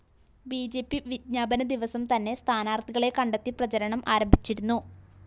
B J P വിജ്ഞാപന ദിവസം തന്നെ സ്ഥാനാര്‍ത്ഥികളെ കണ്ടെത്തി പ്രചരണം ആരംഭിച്ചിരുന്നു